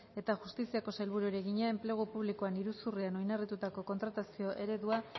eta justiziako sailburuari egina enplegu publikoan iruzurrean oinarritutako kontratazio eredua